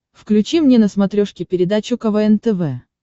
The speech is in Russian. включи мне на смотрешке передачу квн тв